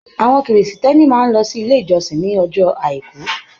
Àwọn Kìrìsìtẹ́ẹ́nì máa ń lọ sí ilé ìjọsìn ní ọjọ́ Àìkú.